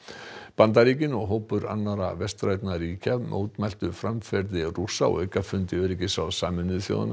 Bandaríkin og hópur annarra vestrænna ríkja mótmæltu framferði Rússa á aukafundi öryggisráðs Sameinuðu þjóðanna